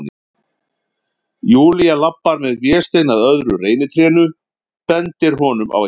Júlía labbar með Véstein að öðru reynitrénu, bendir honum á eitthvað.